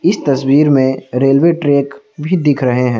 इस तस्वीर में रेलवे ट्रैक भी दिख रहे हैं।